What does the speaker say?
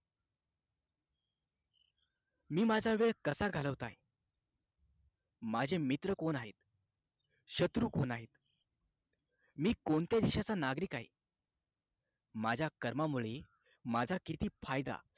मी माझा वेळ कसा घालवत आहे माझे मित्र कोण आहेत शत्रू कोण आहेत मी कोणत्या देशाचा नागरिक आहे माझ्या कर्मामुळे माझा किती फायदा